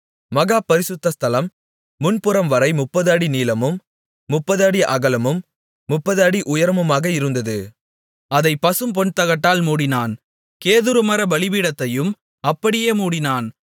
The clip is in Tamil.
மகா பரிசுத்த ஸ்தலம் முன்புறம்வரை 30 அடி நீளமும் 30 அடி அகலமும் 30 அடி உயரமுமாக இருந்தது அதைப் பசும்பொன்தகட்டால் மூடினான் கேதுருமரப் பலிபீடத்தையும் அப்படியே மூடினான்